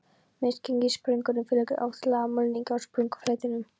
Misgengissprungum fylgir oft lag af mulningi á sprungufletinum.